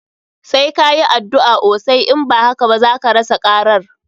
Sai ka yi addu'a osai, in ba haka ba zaka rasa karar.